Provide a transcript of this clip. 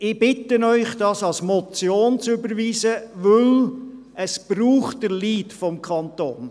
Ich bitte Sie, diesen Vorstoss als Motion zu überweisen, denn es braucht den Lead des Kantons.